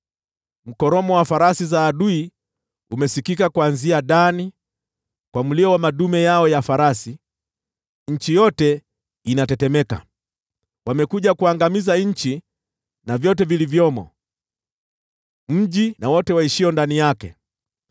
Mkoromo wa farasi za adui umesikika kuanzia Dani, kwa mlio wa madume yao ya farasi, nchi yote inatetemeka. Wamekuja kuangamiza nchi na vyote vilivyomo, mji na wote waishio ndani yake.”